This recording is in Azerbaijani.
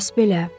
Bəs belə?